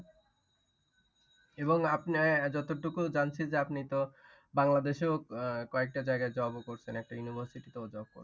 এবং আপনার যতটুকু জানছি যে আপনি তো বাংলাদেশে ও আহ কয়েকটা জায়গায় job ও করেছেন। একটা university তেও job করেছেন।